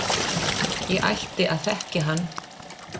Ég ætti að þekkja hann.